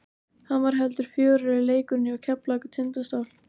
Hann var heldur fjörugri leikurinn hjá Keflavík og Tindastól.